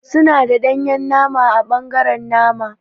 Suna da danye nama ã bangaren nama.